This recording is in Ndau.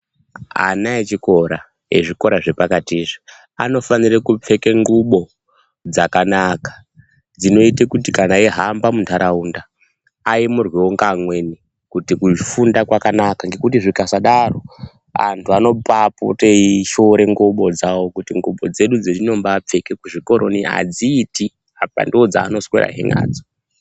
Ana echikora ezvi zvekora zve pakati izvi anofanira kupfeka ndxuko dzakanaka dzinoite kuti kana eyi hamba mu ntaraunda ayemurwewo nge amweni kuti kufunda kwakanaka nekuti zvakasadaro antu anobai pote ishora ndxuko dzawo kuti ndxuko dzedu dzetinombai pfeke ku zvikoro zvedu adziiti apa ndo dzaano swera hee nadzo.